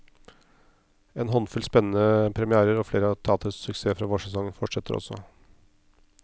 En håndfull spennende premièrer, og flere av teaterets suksesser fra vårsesongen fortsetter også.